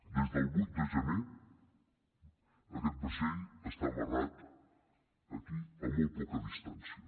des del vuit de gener aquest vaixell està amarrat aquí a molt poca distància